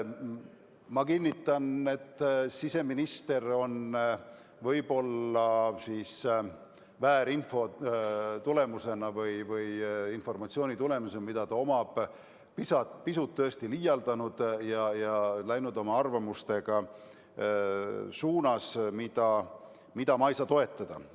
Ma kinnitan, et siseminister on võib-olla väärinfo tõttu või selle informatsiooni tõttu, mida ta omab, tõesti pisut liialdanud ja läinud oma arvamusega suunas, mida ma ei saa toetada.